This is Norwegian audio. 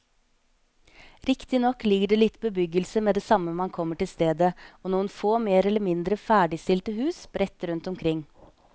Riktignok ligger det litt bebyggelse med det samme man kommer til stedet og noen få mer eller mindre ferdigstilte hus sprett rundt omkring.